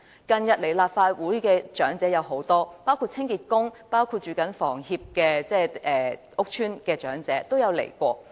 近日，有很多長者來到立法會，包括清潔工、居於香港房屋協會屋邨的長者等。